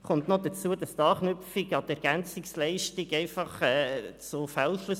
Hinzu kommt noch, dass die Anknüpfung an die EL zu Fehlschlüssen führen kann.